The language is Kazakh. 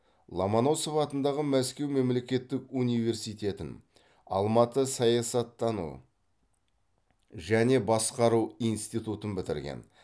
ломоносов атындағы мәскеу мемлекеттік университетін алматы саясаттану және басқару институтын бітірген